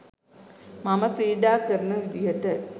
මම ක්‍රීඩා කරන විදිහට.